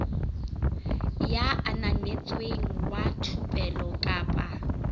ya ananetsweng wa thupelo kapa